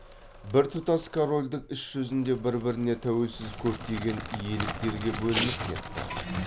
біртұтас корольдік іс жүзінде бір біріне тәуелсіз көптеген иеліктерге бөлініп кетті